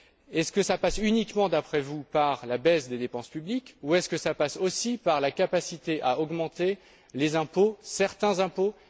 Est ce que cela passe uniquement, d'après vous, par la baisse des dépenses publiques ou est ce que cela passe aussi par la capacité à augmenter certains impôts?